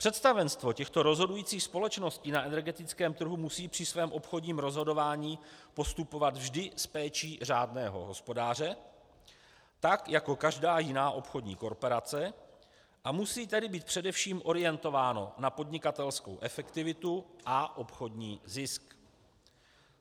Představenstvo těchto rozhodujících společností na energetickém trhu musí při svém obchodním rozhodování postupovat vždy s péčí řádného hospodáře, tak jako každá jiná obchodní korporace, a musí tedy být především orientováno na podnikatelskou efektivitu a obchodní zisk.